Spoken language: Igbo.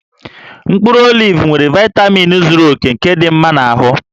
Mkpụrụ olivu nwere vaitamin zuru oke nke dị mma na ahụ